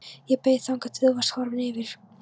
Ég beið þangað til þú varst horfinn yfir